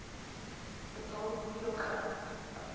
betaal hoeveel geld